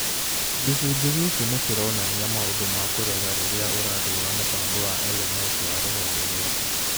Gĩcunjĩ gĩkĩ nĩ kĩronania maũndũ ma kũrora rĩrĩa ũrathuura mũbango wa LMS wa rũhonge rwaku.